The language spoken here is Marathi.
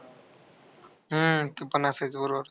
हम्म ते पण असायचा बरोबर.